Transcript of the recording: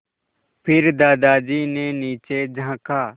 फिर दादाजी ने नीचे झाँका